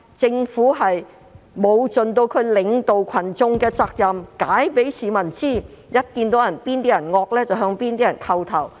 政府沒有盡責領導群眾，並向市民解釋，反而向較為兇惡的人叩頭。